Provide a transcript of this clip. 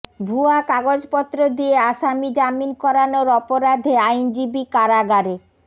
ভুয়া কাগজপত্র দিয়ে আসামী জামিন করানোর অপরাধে আইনজীবী কারাগারে